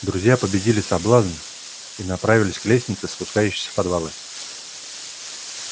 друзья победили соблазн и направились к лестнице спускающейся в подвалы